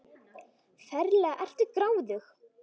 Ferlega ertu gráðug!